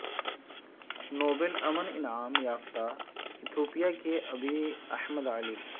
Nobel امن انعام یافتہ ایتھوپیا کے ابی احمد علی